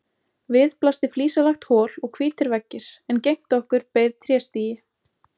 Við blasti flísalagt hol og hvítir veggir en gegnt okkur beið tréstigi.